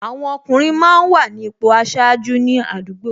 Àwọn ọkùnrin máa ń wà ní ipò aṣáájú ní àdúgbò